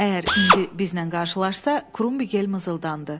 Əgər indi bizlə qarşılaşsa, Krumbigel mızıldandı.